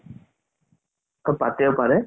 পাতিব পাৰে